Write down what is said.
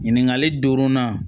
Ɲininkali duurunan